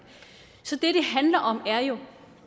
så det det handler om er jo